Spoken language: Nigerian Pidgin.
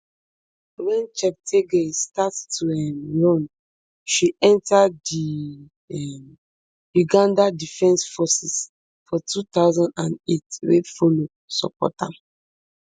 wen cheptegei start to dey um run she enta di um uganda defence forces for two thousand and eight wey follow support am